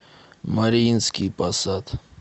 мариинский посад